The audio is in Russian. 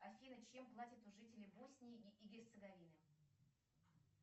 афина чем платят жители боснии и герцеговины